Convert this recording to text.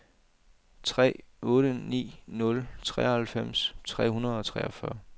tre otte ni nul treoghalvfems tre hundrede og treogfyrre